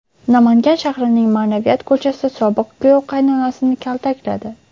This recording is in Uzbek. Namangan shahrining Ma’naviyat ko‘chasida sobiq kuyov qaynonasini kaltakladi.